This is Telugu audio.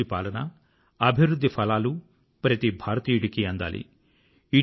మంచి పాలన అభివృధ్ధి ఫలాలు ప్రతి భారతీయుడికీ అందాలి